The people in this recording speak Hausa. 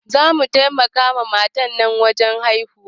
Za mu taimaka ma matan nan wajen haihuwa